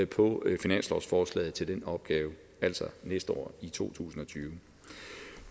på finanslovsforslaget til den opgave altså næste år i to tusind og tyve